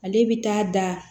Ale bɛ taa da